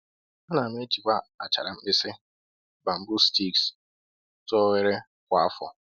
A na m ejikwa achara mkpịsị (bamboo sticks) tụọ oghere kwa afọ